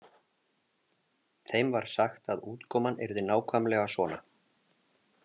Þeim var sagt að útkoman yrði nákvæmlega svona.